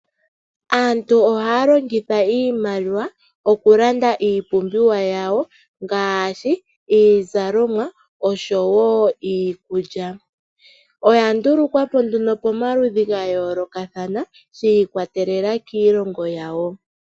Aantu ohaya longitha iimaliwa oku landa iipumbiwa yawo ngaashi iizalomwa osho woo iikulya. Oya ndulukwapo nduno pamaludhi gayoolokathana shiikwatelela kiilongo yawo.